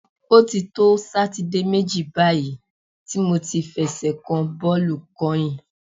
O ti to Sátidé méjì báyìí tí mo ti fẹsẹ̀ kan bọ́ọ̀lù kányìn.